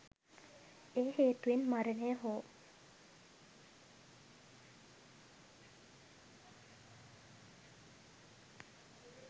ඒ හේතුවෙන් මරණය හෝ